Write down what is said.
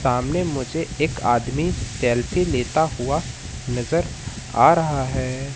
सामने मुझे एक आदमी सेल्फी लेता हुआ नजर आ रहा है।